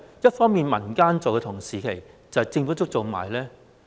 一方面民間在做，同時政府也做呢？